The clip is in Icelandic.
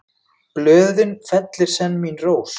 Blöðin fellir senn mín rós.